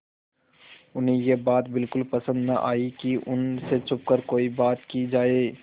उन्हें यह बात बिल्कुल पसन्द न आई कि उन से छुपकर कोई बात की जाए